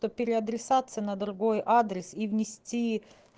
то пере адресация на другой адрес и внести